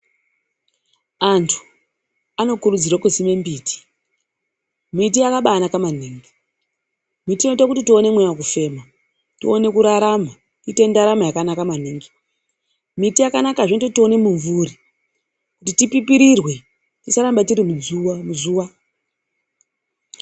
Antu anokurudzirwe kusime mbiti. Miti yakabanaka maningi, mbiti inoite kuti tione mweya vekufema, tione kurarama tiite ndaramo yakanaka maningi. Mbiti yakanakazve kuti tione mumvuri kuti tipipirirwe tisaramba tiri muzuva.